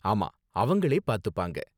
ஆமா, அவங்களே பாத்துப்பாங்க.